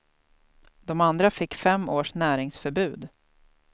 De andra fick fem års näringsförbud.